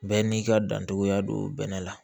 Bɛɛ n'i ka dancogoya don bɛnɛ la